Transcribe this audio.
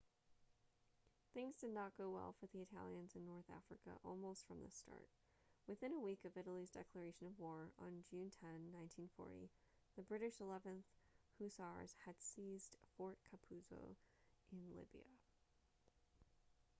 things did not go well for the italians in north africa almost from the start within a week of italy's declaration of war on june 10 1940 the british 11th hussars had seized fort capuzzo in libya